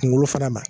Kunkolo fana ma